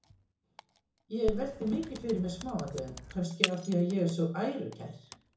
Ég velti mikið fyrir mér smáatriðum, kannski af því að ég er svo ærukær.